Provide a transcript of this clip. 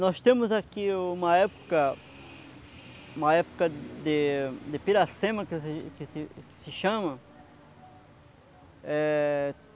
Nós temos aqui uma época, uma época de de piracema que se que se que se chama. É...